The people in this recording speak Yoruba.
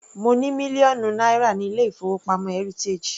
Mo ní mílíọ̀nù náírà ní ilé-ìfowópamọ́ heritage.